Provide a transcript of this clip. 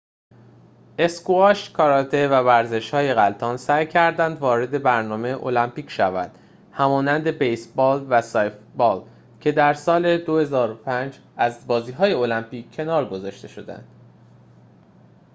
اسکواش کاراته و ورزش‌های غلتان سعی کردند وارد برنامه المپیک شوند همانند بیس بال و سافت بالکه در سال ۲۰۰۵ از بازی های المپیک کنار گذاشته شدند